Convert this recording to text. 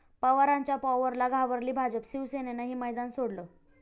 पवारांच्या 'पॉवर'ला घाबरली भाजप, शिवसेनेनंही मैदान सोडलं!